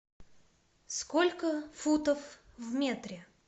сколько футов в метре